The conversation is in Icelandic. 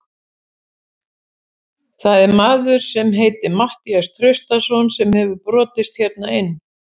Það er maður sem heitir Matthías Traustason sem hefur brotist hérna inn.